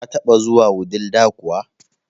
Ka taba zuwa Wudil da kuwa?